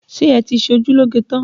Ṣé ẹ ti ṣe ojú lóge tán?